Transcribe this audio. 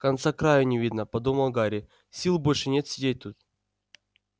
конца-краю не видно подумал гарри сил больше нет сидеть тут